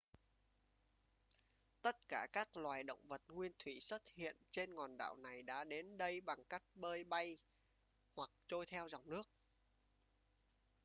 tất cả các loài động vật nguyên thủy xuất hiện trên hòn đảo này đã đến đây bằng cách bơi bay hoặc trôi theo dòng nước